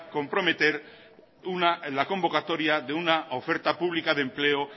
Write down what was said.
comprometer la convocatoria de una oferta pública de empleo